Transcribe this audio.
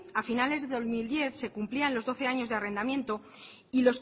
a finales del dos mil diez se cumplían los doce años de arrendamiento y